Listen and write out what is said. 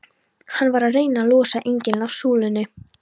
Hann var að reyna að losa engilinn af súlunni!